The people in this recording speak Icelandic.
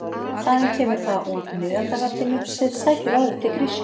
Þaðan kemur það úr miðaldalatínu sem sækir orðið til grísku.